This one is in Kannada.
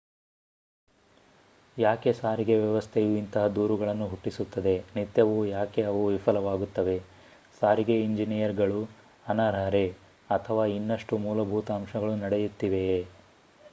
ಯಾಕೆ ಸಾರಿಗೆ ವ್ಯವಸ್ಥೆಯು ಇಂತಹ ದೂರುಗಳನ್ನು ಹುಟ್ಟಿಸುತ್ತದೆ ನಿತ್ಯವೂ ಯಾಕೆ ಅವು ವಿಫಲವಾಗುತ್ತವೆ ಸಾರಿಗೆ ಇಂಜಿನಿಯರುಗಳು ಅನರ್ಹರೇ ಅಥವಾ ಇನ್ನಷ್ಟು ಮೂಲಭೂತ ಅಂಶಗಳು ನಡೆಯುತ್ತಿವೆಯೇ